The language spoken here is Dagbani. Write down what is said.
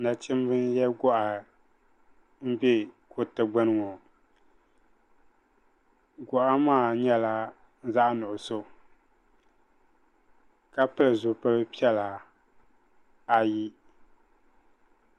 Nachimba n yiɛ gɔɣa n bɛ kuriti gbuni ŋɔ gɔɣa maa yɛla zaɣi nuɣiso ka pili zupili piɛla ayi.